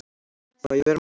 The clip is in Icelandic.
Má ég vera með?